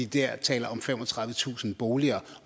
der taler om femogtredivetusind boliger